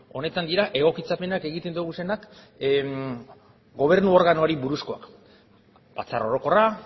honetan dira egokitzapenak egiten ditugunak gobernu organoari buruzkoak batzar orokorra